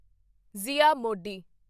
ਜ਼ਿਆ ਮੋਡੀ